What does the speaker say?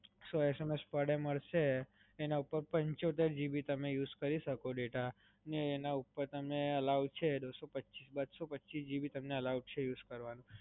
સો SMS per day મલસે, એના ઉપર પંચોતેર GB તમે use કરી સકો data અને એના ઉપર તમને allow છે, બસો પચીસ GB તમને allow છે use કરવાનું.